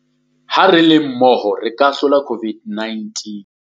Ha re le mmoho re ka e hlola COVID-19.